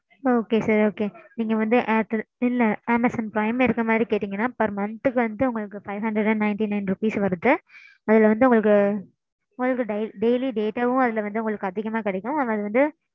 okay sir okay நீங்க வந்து airtel இல்ல amazon prime இருக்குற மாதிரி கேட்டீங்கன்னா per month க்கு வந்து உங்களுக்கு five hundred and ninety nine rupees வருது. அதுல வந்து உங்களுக்கு. உங்களுக்கு ~ daily data வும் அதுல அதிகமா கிடைக்கும். அதுல வந்து